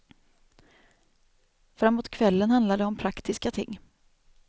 Framåt kvällen handlar det om praktiska ting.